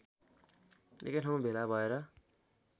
एकैठाउँ भेला भएर